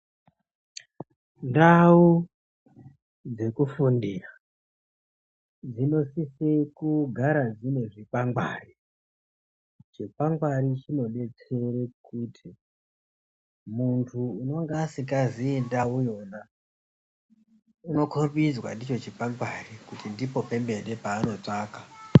Ndau dzekufundira dzinosise kugara dzine zvikwangwari chikwangwari chinodetsere kuti muntu anoasingazi ndauyona unokombidzwa ndicho chikwangwari kuti ndipo panotsvaka.